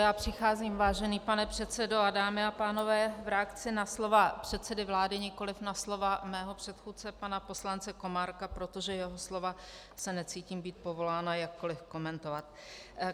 Já přicházím, vážený pane předsedo a dámy a pánové, v reakci na slova předsedy vlády, nikoli na slova mého předchůdce pana poslance Komárka, protože jeho slova se necítím být povolána jakkoli komentovat.